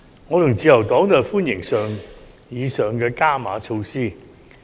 我和自由黨均歡迎上述的"加碼"措施。